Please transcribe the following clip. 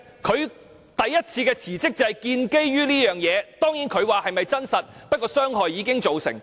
他首次辭職正是基於這個原因，儘管他說事情未必屬實，但傷害已經造成。